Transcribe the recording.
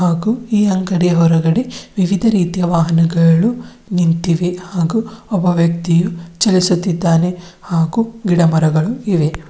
ಹಾಗೂ ಈ ಅಂಗಡಿ ಹೊರಗಡೆ ವಿವಿಧ ರೀತಿಯ ವಾಹನಗಳು ನಿಂತಿವೆ ಹಾಗೂ ಒಬ್ಬ ವ್ಯಕ್ತಿಯು ಚಲಿಸುತ್ತಿದ್ದಾನೆ ಹಾಗೂ ಗಿಡಮರಗಳು ಇವೆ.